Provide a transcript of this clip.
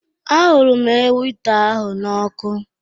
A hụrụ m ewita ahụ n'ọkụ.